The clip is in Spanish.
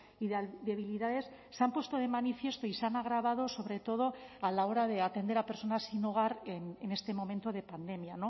y debilidades se han puesto de manifiesto y se han agravado sobre todo a la hora de atender a personas sin hogar en este momento de pandemia